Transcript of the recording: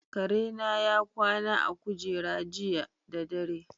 Kare na ya kwana a kujera jiya da dare.